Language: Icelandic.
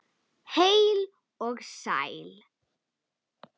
Heill og sæll!